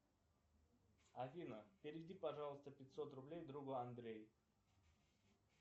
афина переведи пожалуйста пятьсот рублей другу андрей